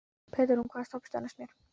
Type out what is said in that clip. Petrún, hvaða stoppistöð er næst mér?